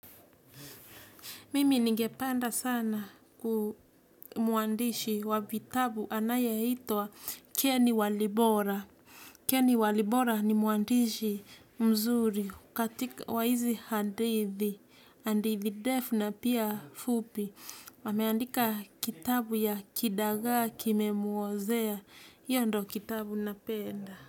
Mimi ningepanda sana ku mwandishi wa vitabu anayeitwa Keni Walibora. Keni Walibora ni mwandishi mzuri katika wa hizi hadithi, handithi defu na pia fupi. Ameandika kitabu ya kidagaa kimemuozea. Hiyo ndio kitabu napenda.